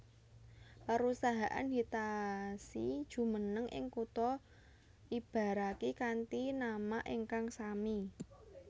Perusahaan Hitachi jumeneng ing kutha Ibaraki kanthi nama ingkang sami